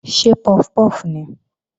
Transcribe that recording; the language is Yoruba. Ṣé puff puff nìí?